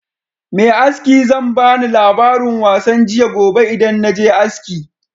Me aski zan bani labarin wasan jiya gobe idan naje aski